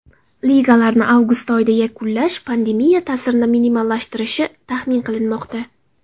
Ligalarni avgust oyida yakunlash pandemiya ta’sirini minimallashtirishi taxmin qilinmoqda.